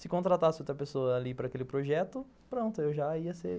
Se contratasse outra pessoa ali para aquele projeto, pronto, eu já ia ser